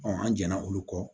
an jɛnna olu kɔ